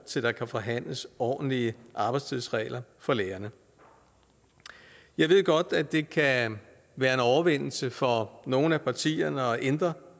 til at forhandle ordentlige arbejdstidsregler for lærerne jeg ved godt at det kan være en overvindelse for nogle af partierne at ændre